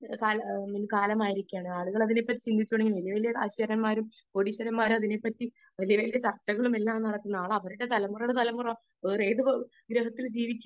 Speaker 2 കാലമായിരിക്കയാണ് ആളുകൾ അതിനെപ്പറ്റി ചിന്തിച്ചു തുടങ്ങിയിരിക്കുന്നു വലിയ വലിയകാശുകാരന്മാരും കോടീശ്വരന്മാരും വലിയ വലിയ ചർച്ചകൾ നടക്കുന്ന കാലമാണ് . അവരുടെ തലമുറകളുടെ തലമുറ ഏത് ഗ്രഹത്തിൽ ജീവിക്കും